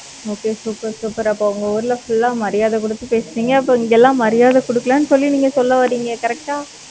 okay super super அப்ப, உங்க ஊர்ல, full ஆ, மரியாதை கொடுத்து பேசுனீங்க. அப்ப, இங்கெல்லாம், மரியாதை குடுக்கலைன்னு, சொல்லி, நீங்க சொல்ல வர்றீங்க. correct ஆ